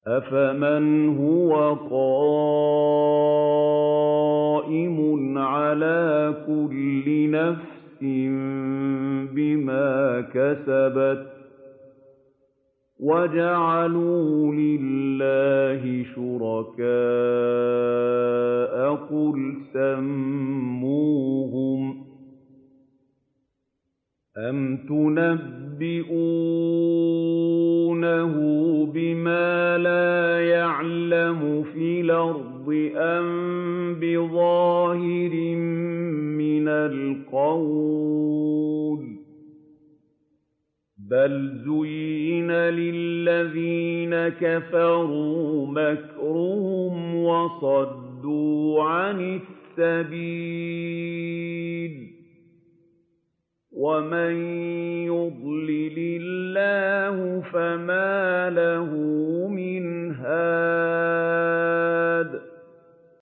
أَفَمَنْ هُوَ قَائِمٌ عَلَىٰ كُلِّ نَفْسٍ بِمَا كَسَبَتْ ۗ وَجَعَلُوا لِلَّهِ شُرَكَاءَ قُلْ سَمُّوهُمْ ۚ أَمْ تُنَبِّئُونَهُ بِمَا لَا يَعْلَمُ فِي الْأَرْضِ أَم بِظَاهِرٍ مِّنَ الْقَوْلِ ۗ بَلْ زُيِّنَ لِلَّذِينَ كَفَرُوا مَكْرُهُمْ وَصُدُّوا عَنِ السَّبِيلِ ۗ وَمَن يُضْلِلِ اللَّهُ فَمَا لَهُ مِنْ هَادٍ